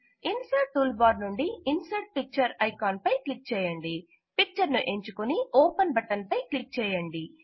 insert tool bar నుండి insert picture icon పై click చేయండి పిక్చర్ ను ఎంచుకుని ఓపెన్ బటన్ పై క్లిక్ చేయండి